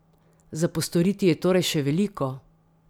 Za postoriti je torej še veliko?